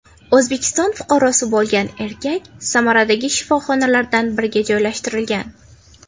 O‘zbekiston fuqarosi bo‘lgan erkak Samaradagi shifoxonalardan biriga joylashtirilgan.